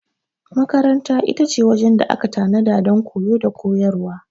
Makaranta ita ce wajen da aka tanada don koyo da koyarwa.